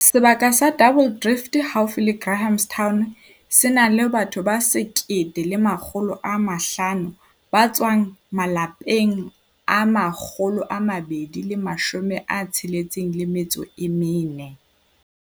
Sebaka sa Double Drift haufi le Grahamstown se na le batho ba 1 500 ba tswang malapeng a 264.